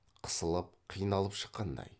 қысылып қиналып шыққандай